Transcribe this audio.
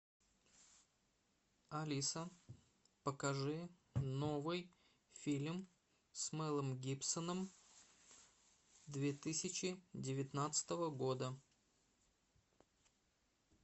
алиса покажи новый фильм с мелом гибсоном две тысячи девятнадцатого года